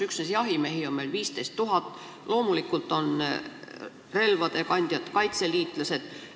Üksnes jahimehi on meil 15 000, loomulikult on relvakandjad kaitseliitlased.